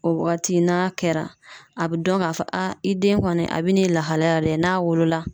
O waati n'a kɛra a bɛ dɔn k'a fɔ i den kɔni a bɛ n'i lahalaya dɛ n'a wolola